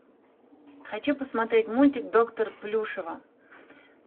хочу посмотреть мультик доктор плюшева